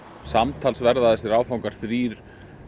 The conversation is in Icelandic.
samtals verða þessi áfangar þrír